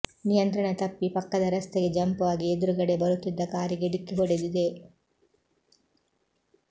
ನಿಯಂತ್ರಣ ತಪ್ಪಿ ಪಕ್ಕದ ರಸ್ತೆಗೆ ಜಂಪ್ ಆಗಿ ಎದುರುಗಡೆ ಬರುತ್ತಿದ್ದ ಕಾರಿಗೆ ಡಿಕ್ಕಿ ಹೊಡೆದಿದೆ